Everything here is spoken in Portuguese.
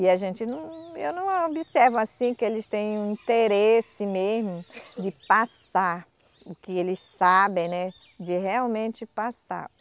E a gente não, eu não observo assim que eles tem um interesse mesmo de passar o que eles sabem, né, de realmente passar.